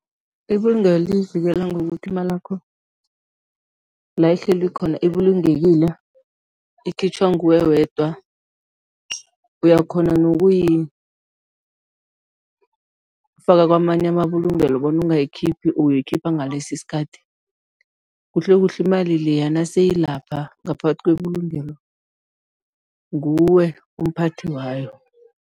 Ibulungelo liyivikela ngokuthi imalakho la ihleli ikhona ibulungekile, ikhitjhwa nguwe wedwa. Uyakghona nokuyifaka kwamanye amabulungelo bona uyangiyikhiphi, uyoyikhipha ngalesi isikhathi. Kuhlekuhle imali leya naseyilapha ngaphakathi kwebulungelo, nguwe umphathi wayo.